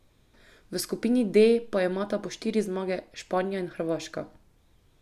V skupini D pa imata po štiri zmage Španija in Hrvaška.